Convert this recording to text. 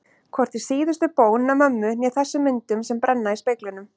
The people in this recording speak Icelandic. Hvorki síðustu bón mömmu né þessum myndum sem brenna í speglinum.